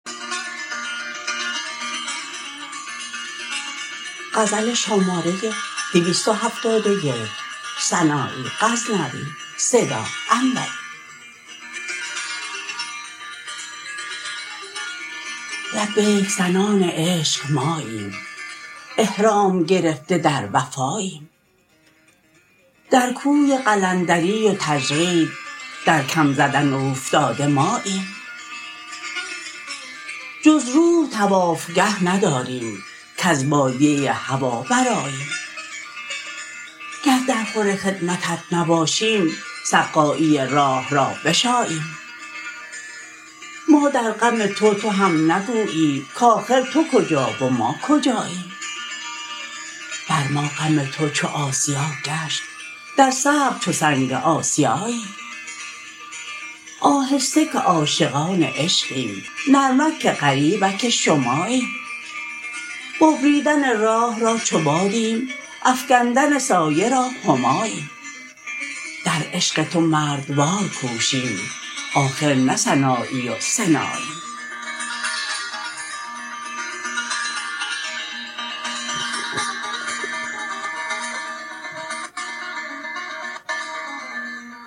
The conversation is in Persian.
لبیک زنان عشق ماییم احرام گرفته در وفاییم در کوی قلندری و تجرید در کم زدن اوفتاده ماییم جز روح طوافگه نداریم کز بادیه هوا برآییم گر در خور خدمتت نباشیم سقایی راه را بشاییم ما در غم تو تو هم نگویی کاخر تو کجا و ما کجاییم بر ما غم تو چو آسیا گشت در صبر چو سنگ آسیاییم آهسته که عاشقان عشقیم نرمک که غریبک شماییم ببریدن راه را چو بادیم افگندن سایه را هماییم در عشق تو مردوار کوشیم آخر نه سنایی و سناییم